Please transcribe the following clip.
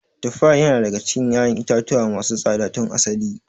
Tufa yana daga cikin ƴaƴan itatuwa masu tsada tun asali.